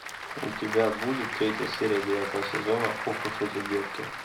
у тебя будет третья серия девятого сезона ох уж эти детки